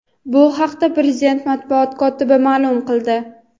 Bu haqda prezident matbuot kotibi ma’lum qildi.